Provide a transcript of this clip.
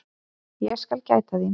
Ég skal gæta þín.